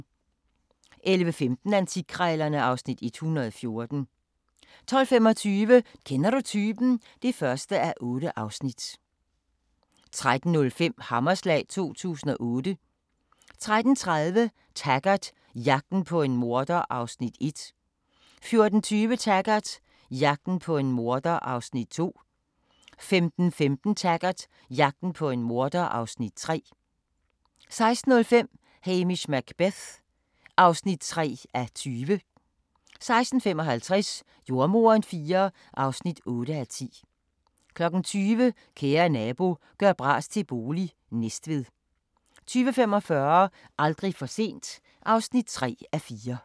11:15: Antikkrejlerne (Afs. 114) 12:25: Kender du typen? (1:8) 13:05: Hammerslag 2008 13:30: Taggart: Jagten på en morder (Afs. 1) 14:20: Taggart: Jagten på en morder (Afs. 2) 15:15: Taggart: Jagten på en morder (Afs. 3) 16:05: Hamish Macbeth (3:20) 16:55: Jordemoderen IV (8:10) 20:00: Kære nabo – gør bras til bolig – Næstved 20:45: Aldrig for sent (3:4)